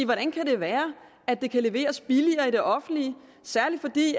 hvordan kan det være at det kan leveres billigere i det offentlige særlig fordi